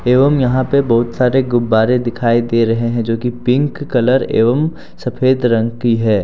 एवं यहां पे बहुत सारे गुब्बारे दिखाई दे रहे है जो की पिंक कलर एवं सफेद रंग की हैं।